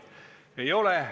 Lugupeetud rahandusminister!